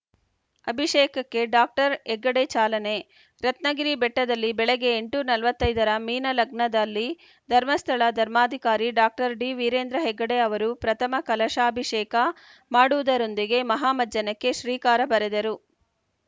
ಅಭಿಷೇಕಕ್ಕೆ doctor Heggade ಚಾಲನೆ ರತ್ನಗಿರಿ ಬೆಟ್ಟದಲ್ಲಿ ಬೆಳಗ್ಗೆ ಎಂಟು ನಲವತ್ತ್ ಐದ ರ ಮೀನ ಲಗ್ನದಲ್ಲಿ ಧರ್ಮಸ್ಥಳ ಧರ್ಮಾಧಿಕಾರಿ ಡಾಕ್ಟರ್ ಡಿವೀರೇಂದ್ರ ಹೆಗ್ಗಡೆ ಅವರು ಪ್ರಥಮ ಕಲಶಾಭಿಷೇಕ ಮಾಡುವುದರೊಂದಿಗೆ ಮಹಾಮಜ್ಜನಕ್ಕೆ ಶ್ರೀಕಾರ ಬರೆದರು